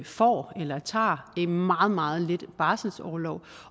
får eller tager meget meget lidt barselsorlov